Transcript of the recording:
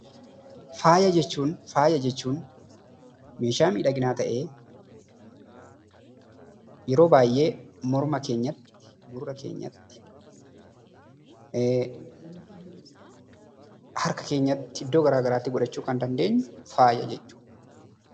Faayaa jechuun, faayaa jechuun meeshaa miidhaginaa tahee, yeroo baayyee morma keenyatti, gurra keenyatti, harka keenyatti iddoo garaagaraatti godhachuu Kan dandeenyu faayaa jechuudha.